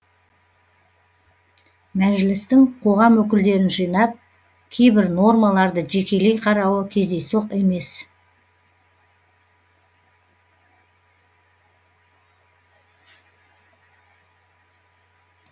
мәжілістің қоғам өкілдерін жинап кейбір нормаларды жекелей қарауы кездейсоқ емес